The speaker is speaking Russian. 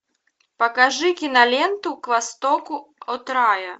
покажи киноленту к востоку от рая